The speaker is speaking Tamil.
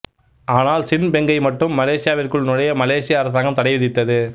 ஆனால் சின் பெங்கை மட்டும் மலேசியாவிற்குள் நுழைய மலேசிய அரசாங்கம் தடை விதித்தது